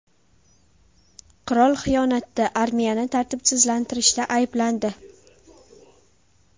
Qirol xiyonatda, armiyani tartibsizlanstirishda ayblandi.